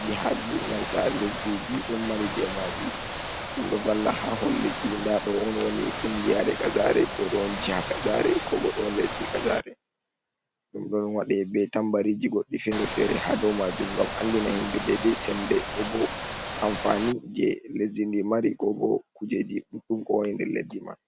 jihaji nanta lesdiji ɗon mari je maji ɗum ɗo valla ha holleki nda ɗo on woni kungiyare kazare ko don jiha kazare ko bo ɗum lydi kazare, ɗum ɗon waɗe be tambariji goɗɗi ferefere hado majum gam andina himɓe dedei sembe ko bo amfani je lesdi ndi mari ko bo kujeji ɗuɗɗum ko woni nder leddi man.